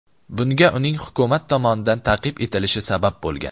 Bunga uning hukumat tomonidan ta’qib etilishi sabab bo‘lgan.